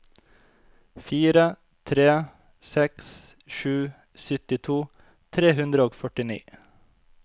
fire tre seks sju syttito tre hundre og førtini